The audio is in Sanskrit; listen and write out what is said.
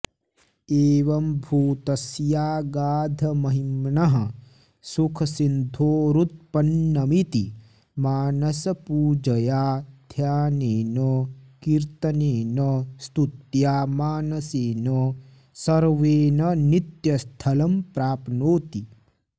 एवम्भूतस्यागाधमहिम्नः सुखसिन्धोरुत्पन्नमिति मानसपूजया ध्यानेन कीर्तनेन स्तुत्या मानसेन सर्वेण नित्यस्थलं प्राप्नोति